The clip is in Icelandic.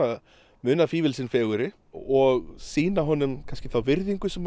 munað fífil sinn fegurri og sýna honum þá virðingu sem